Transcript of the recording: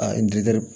A